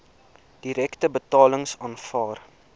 direkte betalings aanvaar